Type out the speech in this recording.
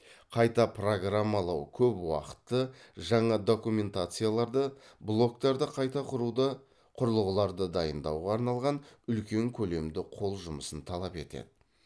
қайта программалау көп уақытты жаңа документацияларды блоктарды қайта құруды құрылғыларды дайындауға арналған үлкен көлемді қол жұмысын талап етті